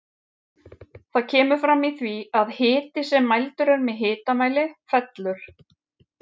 Það kemur fram í því að hiti sem mældur er með hitamæli fellur.